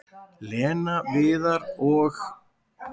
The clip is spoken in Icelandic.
"""Lena, Viðar og-"""